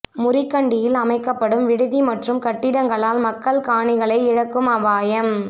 முறிகண்டியில் அமைக்கப்படும் விடுதி மற்றும் கட்டிடங்களால் மக்கள் காணிகளை இழக்கும் அபாயம்